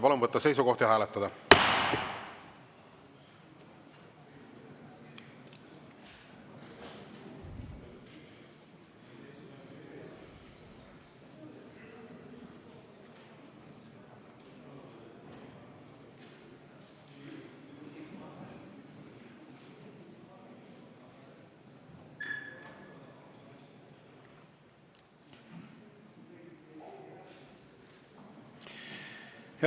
Palun võtta seisukoht ja hääletada!